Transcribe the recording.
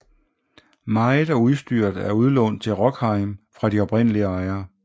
Meget af udstyret er udlånt til Rockheim fra de oprindelige ejere